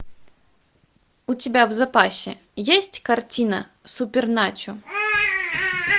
у тебя в запасе есть картина суперначо